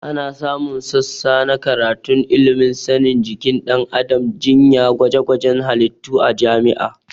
Ana samun sassa na karatun ilimin sanin jikin ɗan adam, jinya, gwajegwajen halittu a jami'a